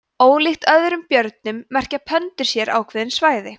ólíkt öðrum björnum merkja pöndur sér ákveðin svæði